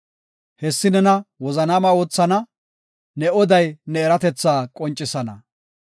Hessi nena wozanaama oothana; ne oday ne eratethaa qoncisana.